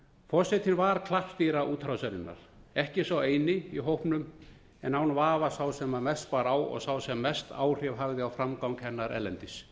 forsetinn var klappstýra útrásarinnar ekki sá eini í hópnum en án vafa sá sem mest bar á og sá sem mest áhrif hafði á framgang hennar erlendis